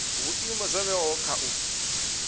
vhuimo zwo vhewaho kha u